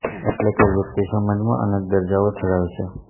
એટલે કે વ્યક્તિ સમાજમાં અનેક દરજ્જાઓ ધરાવે છે